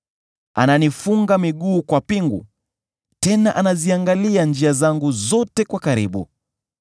Ananifunga miguu kwa pingu, tena anaziangalia njia zangu zote kwa karibu.’